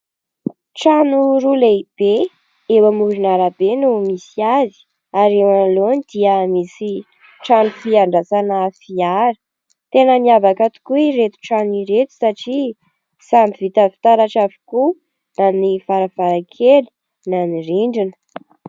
Trano roa lehibe eo amoron'arabe no misy azy, ary eo anoloany dia misy trano fiandrasana fiara, tena miavaka tokoa ireto trano ireto satria samby vita fitaratra avokoa na ny varavarankely na ny rindrina.